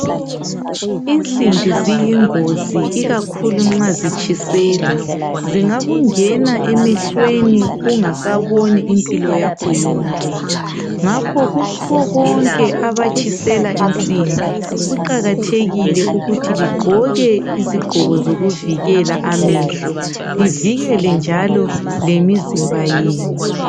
Insimbi ziyingozi ikakhulu nxa zitshiselwa. Zingakungena emehlweni ungasaboni impilo yakho yonke. Ngakho kubo bonke abatshisela insimbi, kuqakathekile ukuthi ligqoke izigqoko zovikela amehlo livikele njalo lemizimba yenu.